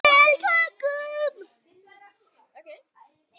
Og geyma hana líka.